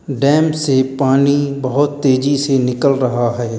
Dam से पानी बहुत तेजी से निकल रहा है।